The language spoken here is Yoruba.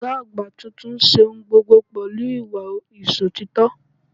Ògá àgbà tuntun n se ohun gbogbo pẹ̀lú ìwà Ìsòtítọ́